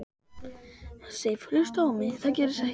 Sif. hlustaðu á mig. það gerist ekkert!